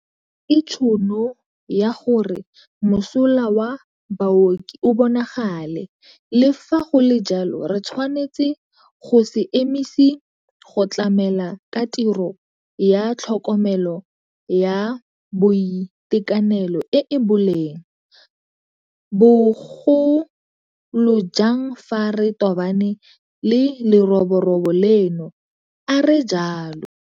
Ke tšhono ya gore mosola wa baoki o bonagale, le fa go le jalo re tshwanetse go se emise go tlamela ka tirelo ya tlhokomelo ya boitekanelo e e boleng, bo golojang fa re tobane le leroborobo leno, a re jalo.